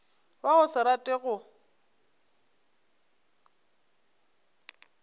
wa go se rate go